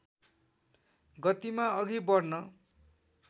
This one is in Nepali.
गतिमा अघि बढ्न